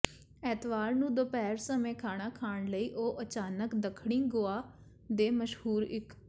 ਐਤਵਾਰ ਨੂੰ ਦੁਪਹਿਰ ਸਮੇਂ ਖਾਣਾ ਖਾਣ ਲਈ ਉਹ ਅਚਾਨਕ ਦੱਖਣੀ ਗੋਆ ਦੇ ਮਸ਼ਹੂਰ ਇਕ